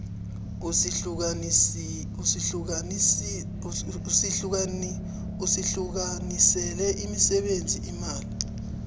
usihlukanisele imisebenzi imali